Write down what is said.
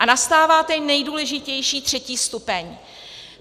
A nastává ten nejdůležitější, třetí stupeň.